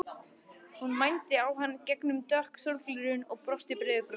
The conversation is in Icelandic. Hún mændi á hann í gegnum dökk sólgleraugu og brosti breiðu brosi.